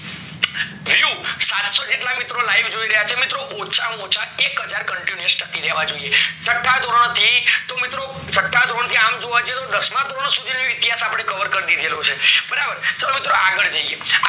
બીજું સાતસો જેટલા મિત્રો live જોઈ રહયા છે. મિત્રો ઓછા માં ઓછા એકહાજર continuous તાકી રહેવા જોઈએ છઠા ધોરણ થી તો મિત્રો છઠા ધોરણ થી અમ જોવા જોઈએ તો દસમાં ધોરણ સુધી નું ઈતિહાસ અપડે cover કરી દીધેલું છે બરાબર તો મિત્રો આગળ જઈએ